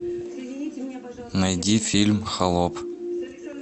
найди фильм холоп